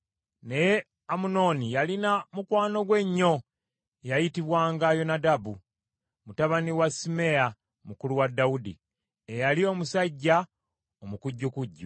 Naye Amunoni yalina mukwano gwe ennyo, eyayitibwanga Yonadabu mutabani wa Simeeya mukulu wa Dawudi, eyali omusajja omukujjukujju.